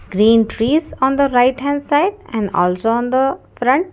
green trees on the right hand side and also under front.